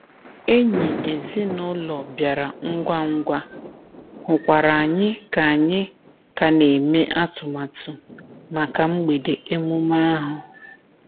Enyi ezinụlọ bịara ngwa ngwa, hụkwara anyị ka anyị ka na-eme atụmatụ maka mgbede emume ahụ.